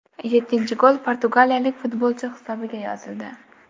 Yettinchi gol portugaliyalik futbolchi hisobiga yozildi.